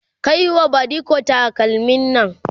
Kai wa badiko takalmin Nan!